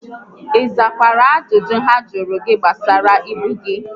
ị zakwara ajụjụ ha jụrụ gị gbasara ibu gị?